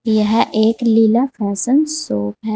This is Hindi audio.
यह एक लीला फैशन शॉप है।